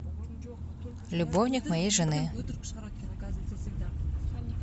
любовник моей жены